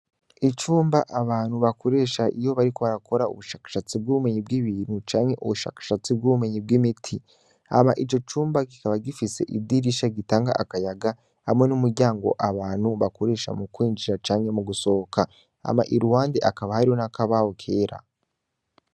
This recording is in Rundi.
Icumba abantu bakoresha iyo bariko barakora ubushakashatsi bw'ubumenyi bw'ibintu canke ubushakashatsi bw'ubumenyi bw'imiti ama ico cumba gikaba gifise idirisha gitanga akayaga hamwe n'umuryango abantu bakoresha mu kwinjira canke mu gusohoka ama i ruwande akaba haro n'akabaho kera.